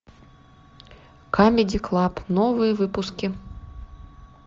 камеди клаб новые выпуски